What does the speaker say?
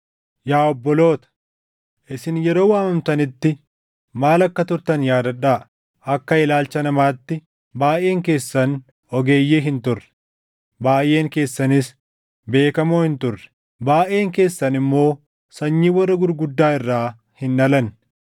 Yaa obboloota, isin yeroo waamamtanitti maal akka turtan yaadadhaa. Akka ilaalcha namaatti baayʼeen keessan ogeeyyii hin turre; baayʼeen keessanis beekamoo hin turre; baayʼeen keessan immoo sanyii warra gurguddaa irraa hin dhalanne.